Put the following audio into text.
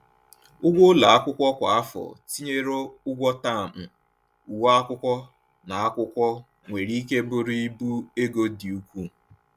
Ụgwọ ụlọ akwụkwọ kwa afọ, tinyere ụgwọ taamụ, uwe akwụkwọ, na akwụkwọ, nwere ike bụrụ ibu ego dị ukwuu.